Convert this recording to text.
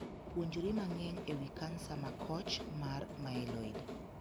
Puonjri mang'eny e wii kansa makoch mar 'myeloid'